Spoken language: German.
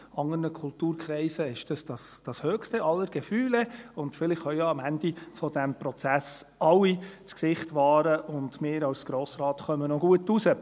In anderen Kulturkreisen ist das das höchste aller Gefühle, und vielleicht können ja am Ende dieses Prozesses alle das Gesicht wahren, und wir als Grosser Rat kommen noch gut dabei heraus.